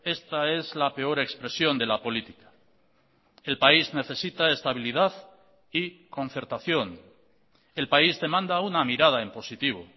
esta es la peor expresión de la política el país necesita estabilidad y concertación el país demanda una mirada en positivo